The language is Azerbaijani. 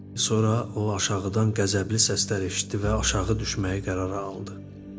Sonra o aşağıdan qəzəbli səslər eşitdi və aşağı düşməyi qərara aldı.